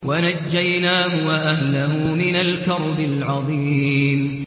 وَنَجَّيْنَاهُ وَأَهْلَهُ مِنَ الْكَرْبِ الْعَظِيمِ